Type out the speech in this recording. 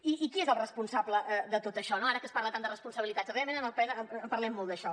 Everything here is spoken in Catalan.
i qui és el responsable de tot això no ara que es parla tant de responsabilitats realment en el ple en parlem molt d’això